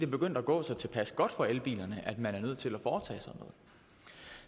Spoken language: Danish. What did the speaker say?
begyndt at gå så tilpas godt for elbilerne at man er nødt til at foretage